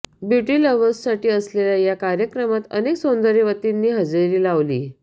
beauty लव्हर्ससाठी असलेल्या या कार्यक्रमात अनेक सौंदर्यवतींनी हजेरी लावली